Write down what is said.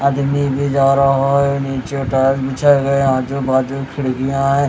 आदमी भी जा रहा है नीचे टाइल बिछाए गए है आजू बाजू खिड़कियां है।